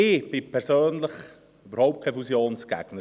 Ich bin persönlich überhaupt kein Fusionsgegner.